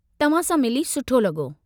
तव्हां सां मिली सुठो लॻो।